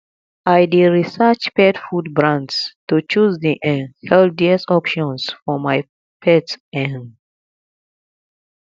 i dey research pet food brands to choose the um healthiest options for my pet um